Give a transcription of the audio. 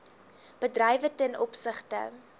bedrywe ten opsigte